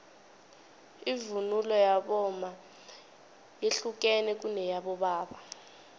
ivunulo yabomma yehlukene kuneyabobaba